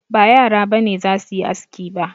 Ba yara ba ne za su yi aski ba